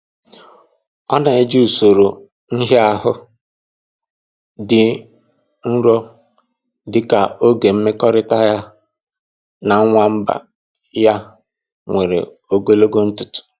Ọ na eji usoro nhịahụ dị nro dị ka oge mmekọrịta ya na nwamba ya nwere ogologo ntụtụ